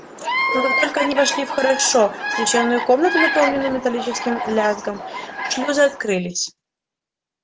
но как только они вошли в хорошо освещённую комнату наполненную металлическим лязгом шлюзы открылись